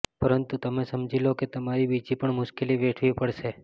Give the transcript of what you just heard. પરંતુ તમે સમજી લો કે તમારી બીજી પણ મુશ્કેલી વેઠવી પડશે